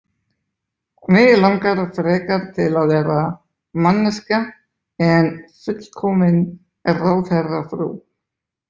Mig langar frekar til að vera manneskja en fullkomin ráðherrafrú.